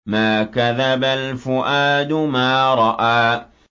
مَا كَذَبَ الْفُؤَادُ مَا رَأَىٰ